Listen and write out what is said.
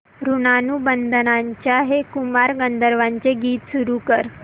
ऋणानुबंधाच्या हे कुमार गंधर्वांचे गीत सुरू कर